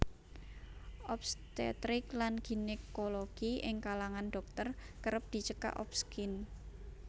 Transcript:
Obstetrik lan ginekologi ing kalangan dhokter kerep dicekak obsgin